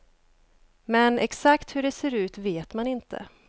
Men exakt hur det ser ut vet man inte.